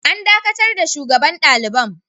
An dakatar da shugaban kai daliban.